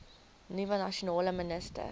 nuwe nasionale minister